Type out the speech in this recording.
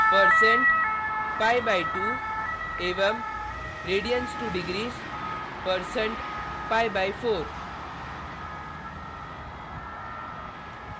percent pi/2 %pi/2 एवं radians2degrees percent pi by 4 %pi/4